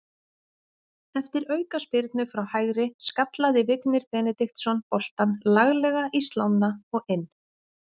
Eftir aukaspyrnu frá hægri skallaði Vignir Benediktsson boltann laglega í slánna og inn.